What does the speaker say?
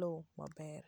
loo maber.